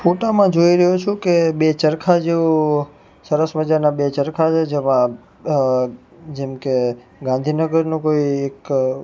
ફોટા માં જોય રહ્યો છું કે બે ચરખા જો સરસ મજાના બે ચરખા છે જેમાં અ જેમકે ગાંધીનગરનું કોઈ એક--